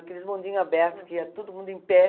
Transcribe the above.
Aqueles bondinhos abertos, que ia todo mundo em pé.